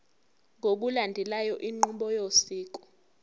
ngokulandela inqubo yosiko